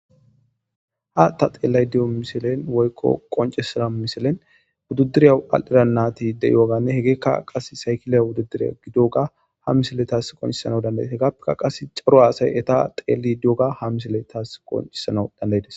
ha ta xeellay diyo miselen woykko qoncisaa miselen wuddudiriya al7ira natideyooganne hegeekka qas saykilay wududiriya gidoga ha misele taas qoncissana dandayte gappekka qas caro aasay eta xeeli di7oga ha misele taas qoncisana dandaydes